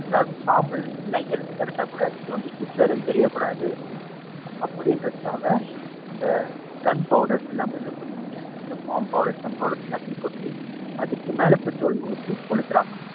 அதாவது சாம்பல், இல்ல எலும்பு கிடைச்சாக்கூட இது வந்து ஹிட்லர்ன்னு தெரியக்கூடாது. அப்படின்றதுக்காக அந்த gun powders எல்லாமே அந்த bomb powders, gun powders எல்லாத்தையுமே கொட்டி அதுக்கு மேல பெட்ரோல் ஊத்தி கொளுத்துறாங்க.